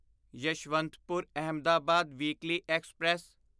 Yeshwantpur Ahmedabad weekly express